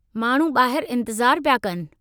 माण्हू ॿाहरि इंतिज़ारु पिया कनि।